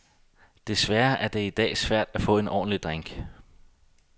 Desværre er det i dag svært at få en ordentlig drink.